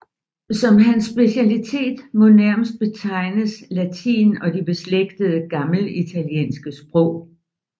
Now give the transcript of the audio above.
Som hans specialitet må nærmest betegnes latin og de beslægtede gammelitaliske sprog